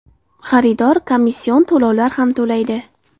Xaridor komission to‘lovlar ham to‘laydi.